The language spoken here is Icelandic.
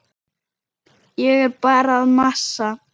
Ég er bara að masa.